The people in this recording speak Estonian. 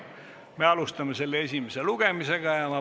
Me alustame selle esimest lugemist.